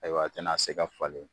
Ayiwa a tɛna se ka falen.